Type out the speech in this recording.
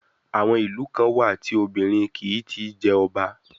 Àwọn ìlú kan wà tí obìnrin kìí ti í jẹ ọba.